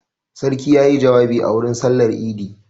Sarki ya yi jawabi a wurin sallar idi.